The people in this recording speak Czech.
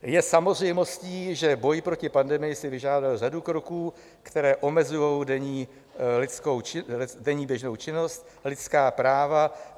Je samozřejmostí, že boj proti pandemii si vyžádal řadu kroků, které omezují denní běžnou činnost, lidská práva.